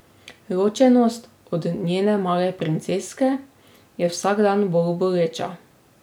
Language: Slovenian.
Ločenost od njene male princeske je vsak dan bolj boleča.